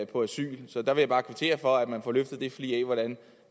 på asyl så der vil jeg bare kvittere for at man får løftet en flig